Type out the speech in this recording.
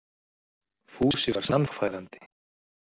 Fúsi var sannfærandi.